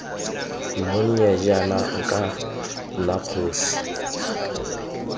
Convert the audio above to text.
monnye jaana nka nna kgosi